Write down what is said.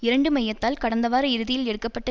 இரண்டு மையத்தால் கடந்த வார இறுதியில் எடுக்க பட்ட